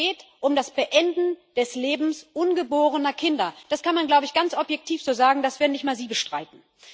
Es geht um das Beenden des Lebens ungeborener Kinder das kann man, glaube ich, ganz objektiv so sagen, das werden nicht mal Sie bestreiten.